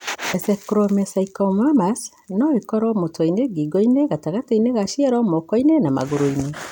Ectomesenchymomas no ĩkorũo mũtwe-inĩ, ngingo-inĩ, gatagatĩ ka ciero, moko-inĩ na magũrũ-inĩ.